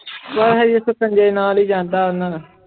ਪਰ ਹਜੇ ਸਕੰਜੇ ਨਾਲ ਹੀ ਜਾਂਦਾ